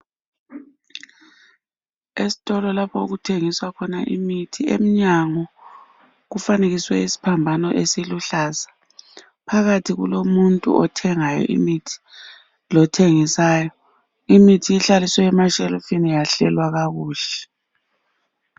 Ezitolo lapho okuthengiswa khona imithi emnyango kufanekiswe isiphambano esiluhlaza . Phakathi kulomuntu othengayo imithi lothengisayo . Imithi ihlaliswe emashelufini yahlelwa kakuhle.